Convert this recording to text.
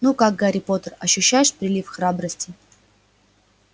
ну как гарри поттер ощущаешь прилив храбрости